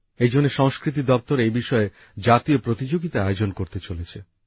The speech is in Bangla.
এইজন্যে সংস্কৃতি দপ্তর এই বিষয়ে জাতীয় প্রতিযোগিতা আয়োজন করতে চলেছে